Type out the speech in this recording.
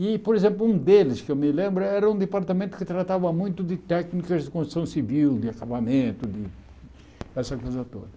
E, por exemplo, um deles que eu me lembro era um departamento que tratava muito de técnicas de construção civil, de acabamento, de dessa coisa toda.